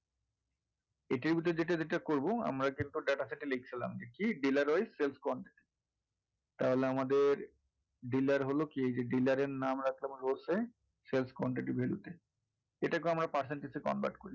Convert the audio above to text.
এই table টার যেটা করবো আমরা data sheet এ লিখছিলাম কি বেলা রয় তাহলে আমাদের dealer হলো কি যে dealer এর নাম রাখা হলো কি যে তে এটা কেও আমরা percentage value তে convert করি।